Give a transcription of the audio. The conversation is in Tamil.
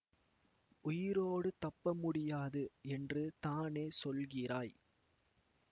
உயிரோடு தப்ப முடியாது என்று தானே சொல்கிறாய்